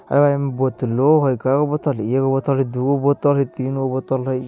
अं बोतलो है। केगो बोतल है? एगो बोतल है दूगो बोतल है तीनगो बोतल है ।